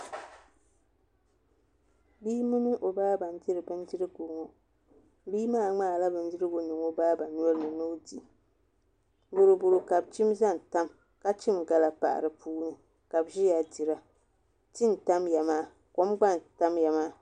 Bia mini o baaba n diri bindirigu ŋo bia maa ŋmaala bindirigu niŋ o baaba noli ni ni o di boroboro ka bi chim zaŋ tam ka chim gala pahi di puuni ka bi ʒiya dira ti n tamya maa kom gba n tamya maa